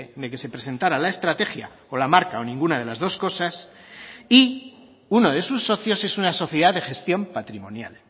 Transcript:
de que se presentara la estrategia o la marca o ninguna de las dos cosas y uno de sus socios es una sociedad de gestión patrimonial